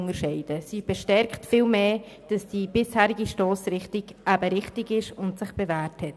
Vielmehr bestätigt sie, dass die bisherige Stossrichtung richtig ist und sich bewährt hat.